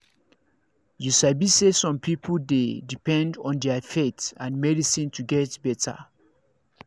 you sabi say some people dey depend on their faith and medicine to get better